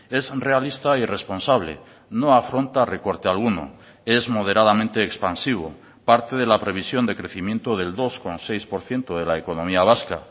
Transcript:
es realista y responsable no afronta recorte alguno es moderadamente expansivo parte de la previsión de crecimiento del dos coma seis por ciento de la economía vasca